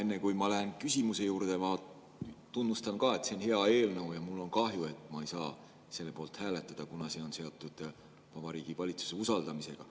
Enne kui ma lähen küsimuse juurde, ma tunnustan ka, et see on hea eelnõu, ja mul on kahju, et ma ei saa selle poolt hääletada, kuna see on seotud Vabariigi Valitsuse usaldamisega.